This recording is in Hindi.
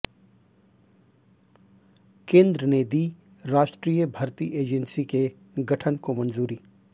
केन्द्र ने दी राष्ट्रीय भर्ती एजेंसी के गठन को मंजूरी